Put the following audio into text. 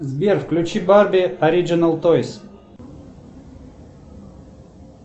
сбер включи барби ориджинал тойс